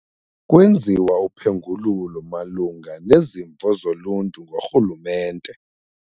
Kwenziwa uphengululo malunga nezimvo zoluntu ngorhulumente.